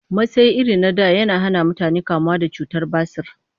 Masai irin na da yana hana mutane kamuwa da cutar basir